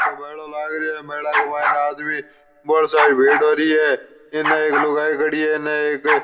ओ मेलो लाग रियो है मेला के मायने आदमी बहुत सारी भीड़ हो रही है इनने एक लुगाई खड़ी है इनने एक --